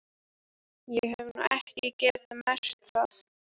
Ég hef nú ekki getað merkt það.